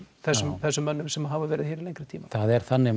þessum þessum mönnum sem hafa verið hér til lengri tíma það er þannig